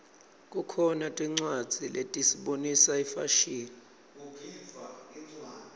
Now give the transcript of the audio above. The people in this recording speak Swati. kukhona tincwadzi letisibonisa ifashini